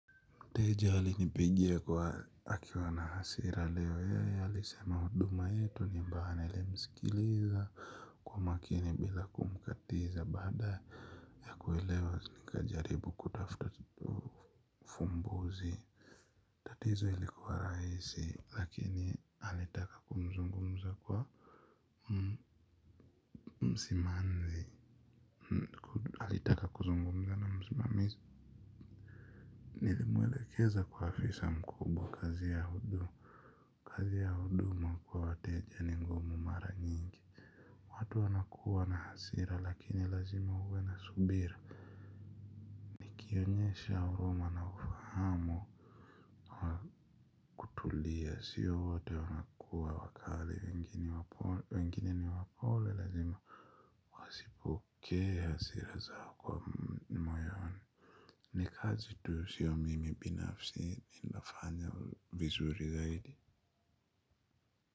Mteja alinipigia akiwa na hasira leo alisema huduma yetu ni mbaya nilimsikiliza kwa makini bila kumkatiza baada ya kuelewa nikajaribu kutafuta fumbuzi. Tatizo ilikuwa rahisi lakini alitaka kumzungumzia msimamizi alitaka kuzungumza na msimamizi. Nilimwelekeza kwa afisa mkubwa kazi ya huduma. Kazi ya huduma kwa wateja ni ngumu mara nyingi. Watu wanakuwa na hasira lakini lazima uwe na subira ukionyesha huruma na ufahamu wa kutulia sio wote wanakuwa wakali wengine ni wapole lazima wasipokee hasira zao kwa moyoni. Ni kazi tu sio mimi binafsi ninafanya vizuri zaidi.